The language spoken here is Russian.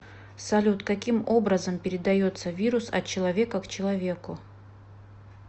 салют каким образом передается вирус от человека к человеку